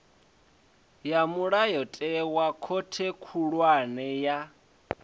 ya mulayotewa khothe khulwane ya